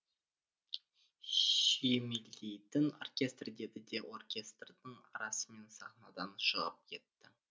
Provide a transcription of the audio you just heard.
сүйемелдейтін оркестр деді де оркестрдің арасымен сахнадан шығып кетті